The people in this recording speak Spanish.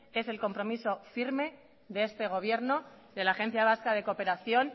es el compromiso firme de este gobierno de la agencia vasca de cooperación